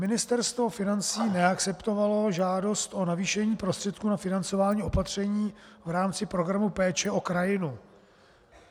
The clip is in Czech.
Ministerstvo financí neakceptovalo žádost o navýšení prostředků na financování opatření v rámci Programu péče o krajinu.